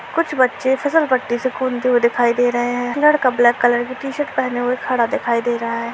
कुछ बच्चे फिसलपट्टी से कूदते हुए दिखाई दे रहे हैं एक लड़का ब्लैक कलर की टी-शर्ट पहने हुए खड़ा दिखाई दे रहा है।